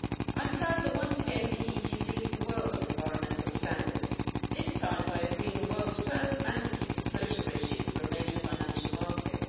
I'm proud that, once again, the EU leads the world on environmental standards this time by agreeing the world's first mandatory disclosure regime for a major financial market.